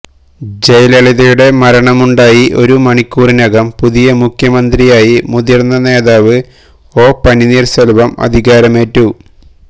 ജയലളിതയുടെ മരണമുണ്ടായി ഒരു മണിക്കൂറിനകം പുതിയ മുഖ്യമന്ത്രിയായി മുതിർന്ന നേതാവ് ഒ പന്നീർ ശെൽവം അധികാരമേറ്റു